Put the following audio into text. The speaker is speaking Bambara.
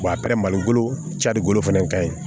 a bɛ malo cari bolo fana ka ɲi